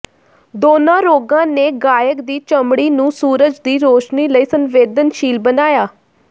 ਦੋਨਾਂ ਰੋਗਾਂ ਨੇ ਗਾਇਕ ਦੀ ਚਮੜੀ ਨੂੰ ਸੂਰਜ ਦੀ ਰੌਸ਼ਨੀ ਲਈ ਸੰਵੇਦਨਸ਼ੀਲ ਬਣਾਇਆ